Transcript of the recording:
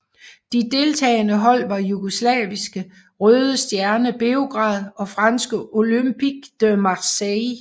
De deltagende hold var jugoslaviske Røde Stjerne Beograd og franske Olympique de Marseille